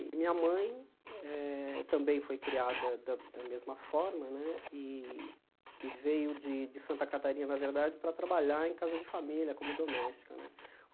E minha mãe eh também foi criada da da mesma formané e e veio de Santa Catarina, na verdade, para trabalhar em casa de família, como doméstica né.